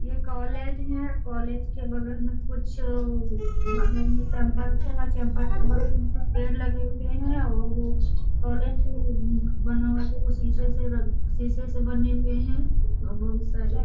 ये कॉलेज है कॉलेज के बगल में कुछ कुछ पेड़ लगे हुए हैं और कॉलेज बना हुआ है जो वो शीशे से शीशे से बने हुए हैं औ बहुत सारे --